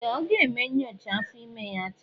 Ee! Ọ ga-eme nyocha afọ ime ya taa.